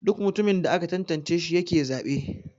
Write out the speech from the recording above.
Duk mutumin da aka tantance shi yake zabe.